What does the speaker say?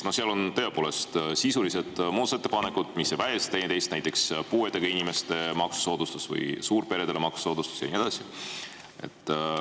Seal on tõepoolest sisulised muudatusettepanekud, mis ei välista teineteist, näiteks puuetega inimeste maksusoodustus või suurperede maksusoodustus ja nii edasi.